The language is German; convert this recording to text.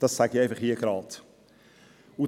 Das sage ich hier geradeheraus.